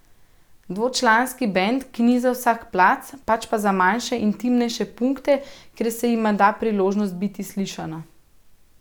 Dvočlanski bend, ki ni za vsak plac, pač pa za manjše intimnejše punkte, kjer se jima da priložnost biti slišana.